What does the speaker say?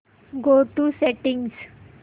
go to settings